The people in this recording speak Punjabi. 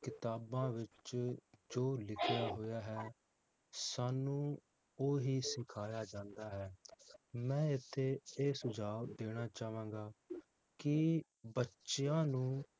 ਕਿਤਾਬਾਂ ਵਿਚ ਜੋ ਲਿਖਿਆ ਹੋਇਆ ਹੈ ਸਾਨੂੰ ਓਹੀ ਸਿਖਾਇਆ ਜਾਂਦਾ ਹੈ ਮੈ ਇਥੇ ਇਹ ਸੁਝਾਵ ਦੇਣਾ ਚਾਵਾਂਗਾ ਕਿ ਬੱਚਿਆਂ ਨੂੰ